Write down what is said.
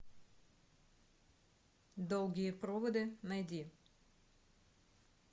долгие проводы найди